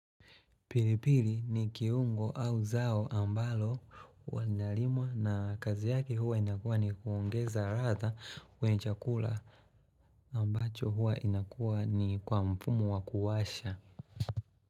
Pilipili ni kiungo au zao ambalo wanyalimwa na kazi yaki huwa inakua ni kuongeza rata kwenye chakula ambacho huwa inakua ni kwa mpumu wakuwasha.